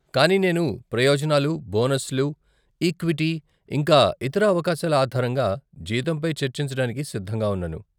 కానీ నేను ప్రయోజనాలు, బోనస్లు, ఈక్విటీ, ఇంకా ఇతర అవకాశాల ఆధారంగా జీతంపై చర్చించడానికి సిద్ధంగా ఉన్నాను.